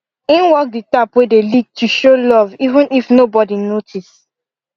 im work the tap wey dey leak to show love even if nobody notice